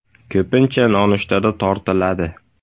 Ko‘pincha nonushtada tortiladi.